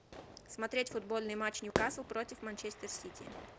смотреть футбольный матч ньюкасл против манчестер сити